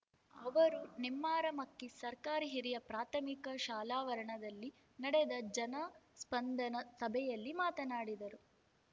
ಅವರು ನೆಮ್ಮಾರು ಮಕ್ಕಿ ಸರ್ಕಾರಿ ಹಿರಿಯ ಪ್ರಾಥಮಿಕ ಶಾಲಾವರಣದಲ್ಲಿ ನಡೆದ ಜನಸ್ಪಂದನ ಸಭೆಯಲ್ಲಿ ಮಾತನಾಡಿದರು